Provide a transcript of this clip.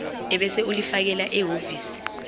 ebese ulifakela ehhovisi